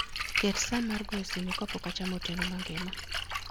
Ket sa mar goyo simo ka pok achamo otieno mangima